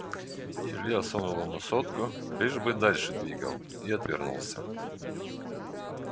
илья сунул ему сотку лишь бы дальше двигал и отвернулся